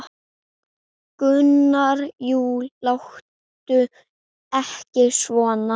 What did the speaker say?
Gunnar: Jú, láttu ekki svona.